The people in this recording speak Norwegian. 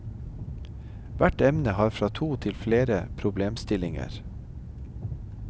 Hvert emne har fra to til flere problemstillinger.